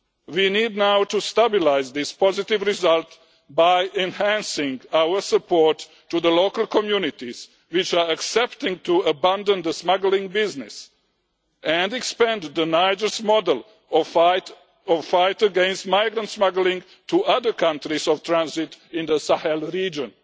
We need now to stabilise this positive result by enhancing our support to the local communities which are accepting to abandon the smuggling business and expand Niger's model of the fight against migrant smuggling to other countries of transit in the Sahel region.